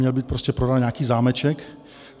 Měl být prostě prodán nějaký zámeček.